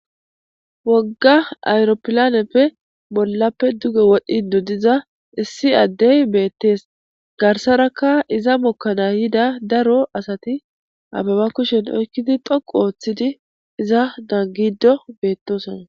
Wogga ayroppilaaneppe bollappe duge wodhiiddi diza, issi adde be'ettees. Garasarakka iza mookana gidda daro asati, ababa kushshan oyqidi tsoqqu oottidi, iza naagidi be'etoosona.